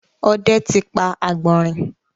òde tí pá agbọnrin.